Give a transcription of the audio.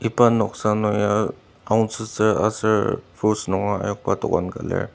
iba noksa nung ya aonsotsü aser fruits ayokba dokan ka lir.